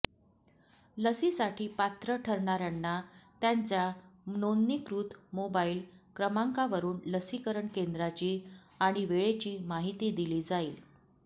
लसीसाठी पात्र ठरणाऱ्यांना त्यांच्या नोंदणीकृत मोबाईल क्रमांकावरून लसीकरण केंद्राची आणि वेळेची माहिती दिली जाईल